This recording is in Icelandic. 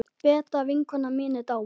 Beta vinkona mín er dáin.